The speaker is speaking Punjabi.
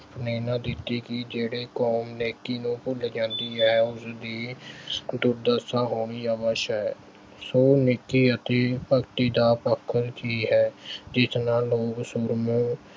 ਪ੍ਰੇਰਨਾ ਦਿੱਤੀ ਕਿ ਜਿਹੜੀ ਕੌਮ ਨੇਕੀ ਨੂੰ ਭੁੱਲ ਜਾਂਦੀ ਹੈ ਉਸਦੀ ਦੁਰਦਸ਼ਾ ਹੋਣੀ ਅਵੱਸ਼ ਹੈ। ਸੋ ਨੇਕੀ ਅਤੇ ਭਗਤੀ ਦਾ ਪੱਖ ਉਹ ਚੀਜ਼ ਹੈ ਜਿਸ ਨਾਲ